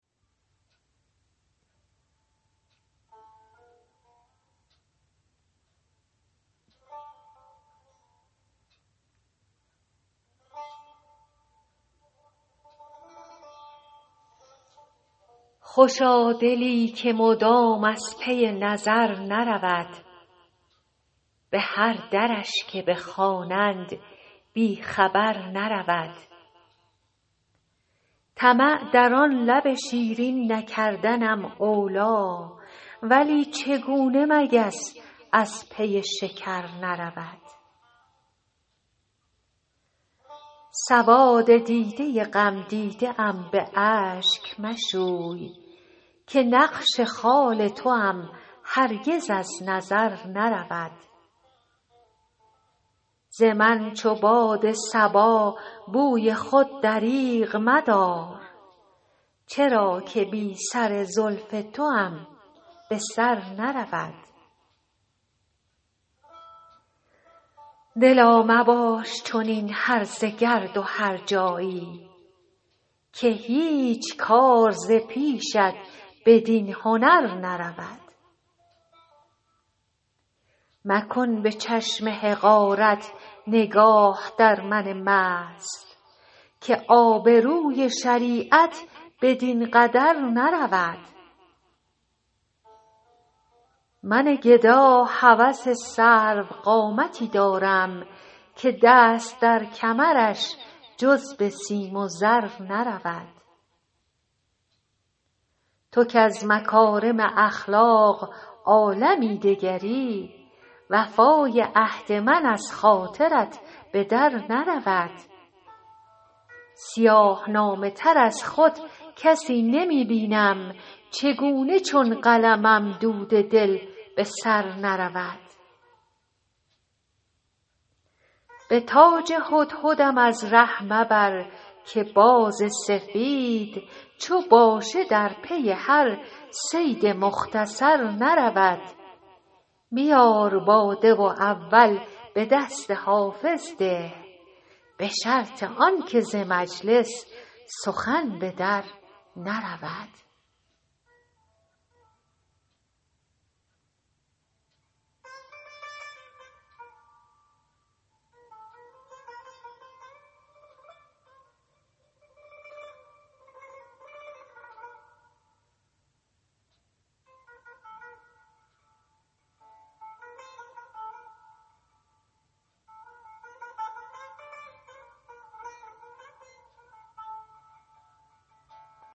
خوشا دلی که مدام از پی نظر نرود به هر درش که بخوانند بی خبر نرود طمع در آن لب شیرین نکردنم اولی ولی چگونه مگس از پی شکر نرود سواد دیده غمدیده ام به اشک مشوی که نقش خال توام هرگز از نظر نرود ز من چو باد صبا بوی خود دریغ مدار چرا که بی سر زلف توام به سر نرود دلا مباش چنین هرزه گرد و هرجایی که هیچ کار ز پیشت بدین هنر نرود مکن به چشم حقارت نگاه در من مست که آبروی شریعت بدین قدر نرود من گدا هوس سروقامتی دارم که دست در کمرش جز به سیم و زر نرود تو کز مکارم اخلاق عالمی دگری وفای عهد من از خاطرت به در نرود سیاه نامه تر از خود کسی نمی بینم چگونه چون قلمم دود دل به سر نرود به تاج هدهدم از ره مبر که باز سفید چو باشه در پی هر صید مختصر نرود بیار باده و اول به دست حافظ ده به شرط آن که ز مجلس سخن به در نرود